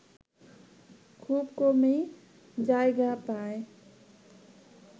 খুব কমই জায়গা পায়